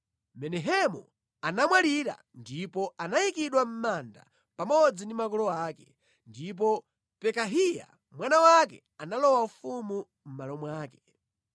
Menahemu anamwalira ndipo anayikidwa mʼmanda pamodzi ndi makolo ake. Ndipo Pekahiya mwana wake analowa ufumu mʼmalo mwake.